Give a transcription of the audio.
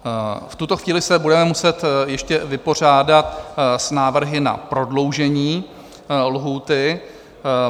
V tuto chvíli se budeme muset ještě vypořádat s návrhy na prodloužení lhůty.